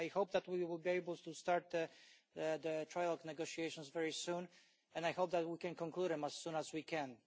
I hope that we will be able to start the trilogue negotiations very soon, and I hold that we can conclude them as soon as we can.